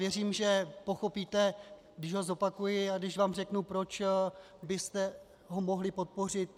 Věřím, že pochopíte, když ho zopakuji a když vám řeknu, proč byste ho mohli podpořit.